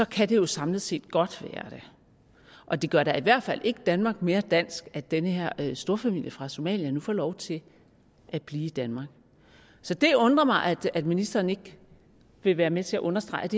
kan det jo samlet set godt være det og det gør da i hvert fald ikke danmark mere dansk at den her storfamilie fra somalia nu får lov til at blive i danmark så det undrer mig at ministeren ikke vil være med til at understrege at